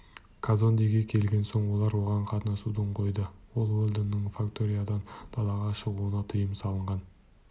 казондеге келген соң олар оған қатынасуды қойды ал уэлдонның факториядан далаға шығуына тыйым салынған